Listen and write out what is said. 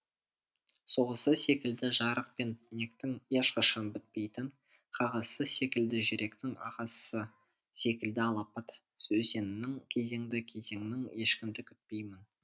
соғысы секілді жарық пен түнектің ешқашан бітпейтін қағысы секілді жүректің ағысы секілді алапат өзеннің кезеңнің ешкімді күтпеймін